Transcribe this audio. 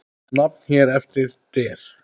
Nefnd hér eftir: Der